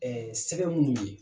Ɛɛ sɛgɛ minnu ye